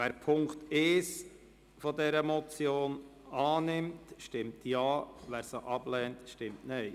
Wer Punkt 1 dieser Motion annimmt, stimmt Ja, wer diesen ablehnt, stimmt Nein.